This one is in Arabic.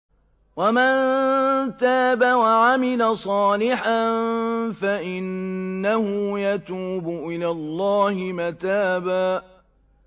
وَمَن تَابَ وَعَمِلَ صَالِحًا فَإِنَّهُ يَتُوبُ إِلَى اللَّهِ مَتَابًا